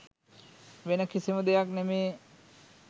වෙන කිසිම දෙයක් නෙමේ